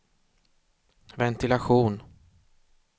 ventilation